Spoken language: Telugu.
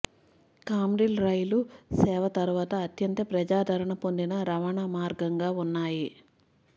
కామ్రిల్ రైలు సేవ తరువాత అత్యంత ప్రజాదరణ పొందిన రవాణా మార్గంగా ఉన్నాయి